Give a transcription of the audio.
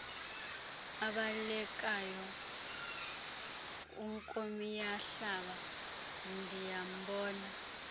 abalekayo unkomiyahlaba ndiyambona